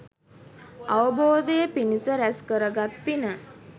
අවබෝධය පිණිස රැස් කරගත් පින